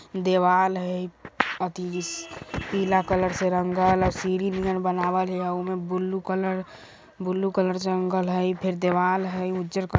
दीवाल हई इब अति इस पीला कलर से रंगल हई सीढ़ी नियर बनावल हई उमे ब्लू कलर ब्लू कलर से रंगल हई ई फिर दीवाल हई उजर क --